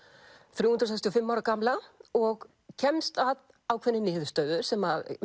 þrjú hundruð sextíu og fimm ára gamla og kemst að ákveðinni niðurstöðu sem